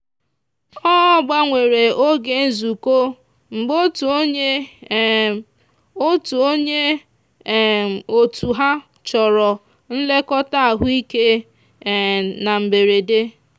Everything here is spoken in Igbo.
ọ gbanwere oge nzukọ mgbe otu onye um otu onye um otu ha chọrọ nlekọta ahụike um na mberede.